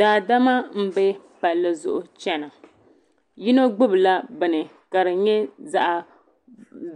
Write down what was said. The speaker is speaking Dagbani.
Daadama m be palli zuɣu n chena yino gbibila bini ka di nyɛ zaɣa